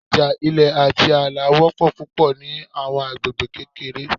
Ija ilẹ ati aala jẹ wọpọ pupọ ni awọn agbegbe kekere